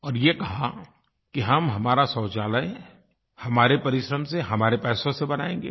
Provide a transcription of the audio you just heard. और ये कहा कि हम हमारा शौचालय हमारे परिश्रम से हमारे पैसों से बनाएँगे